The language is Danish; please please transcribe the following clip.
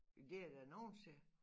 Men det er der nogen steder